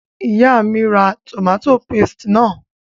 Ìyá mí n ra tòmátò paste náà